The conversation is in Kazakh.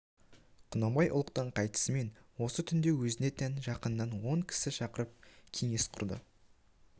құнанбай ұлықтан қайтысымен осы түнде өзіне тән жақыннан он кісі шақырып кеңес құрды